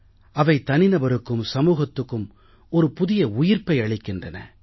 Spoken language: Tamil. அவை தனிநபருக்கும் சமூகத்துக்கு ஒரு புதிய உயிர்ப்பை அளிக்கின்றன